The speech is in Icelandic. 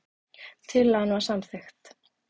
Tillagan var samþykkt.